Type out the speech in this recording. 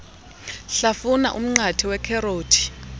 hlafuna umnqathe ikherothi